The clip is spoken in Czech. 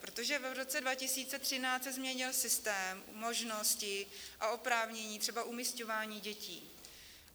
Protože v roce 2013 se změnil systém, možnosti a oprávnění třeba umisťování dětí.